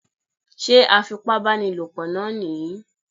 Sé afipábánilòpọ náà nìyí?